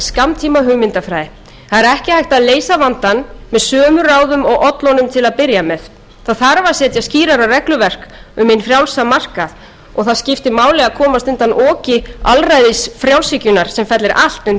hægt að leysa vandann með sömu ráðum og ollu honum til að byrja með það þarf að setja skýrari regluverk um hinn frjálsa markað og það skiptir máli að komast undan oki alræðisfrjálshyggjunnar sem fellir allt undir